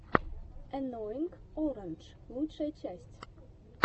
энноинг орандж лучшая часть